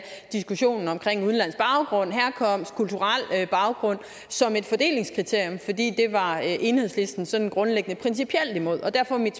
diskussionen omkring udenlandsk baggrund herkomst kulturel baggrund som et fordelingskriterium fordi det var enhedslisten sådan grundlæggende principielt imod derfor er mit